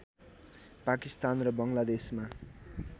पाकिस्तान र बङ्गलादेशमा